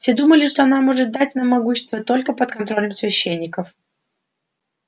все думали что она может дать нам могущество только под контролем священников